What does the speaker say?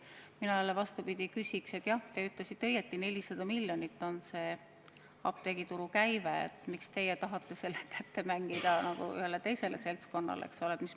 Mina jälle vastupidi küsin: jah, te ütlesite õigesti, 400 miljonit on apteegituru käive, miks teie tahate selle kätte mängida ühele teisele seltskonnale?